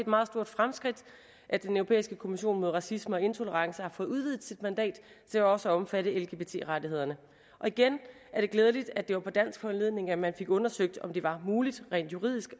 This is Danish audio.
meget stort fremskridt at den europæiske kommission mod racisme og intolerance har fået udvidet sit mandat til også at omfatte lgbt rettighederne og igen er det glædeligt at det var på dansk foranledning at man fik undersøgt om det var muligt rent juridisk